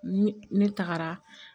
Ni ne tagara